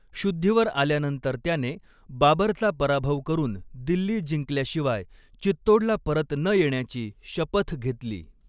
शुद्धीवर आल्यानंतर त्याने, बाबरचा पराभव करून दिल्ली जिंकल्याशिवाय चित्तोडला परत न येण्याची शपथ घेतली.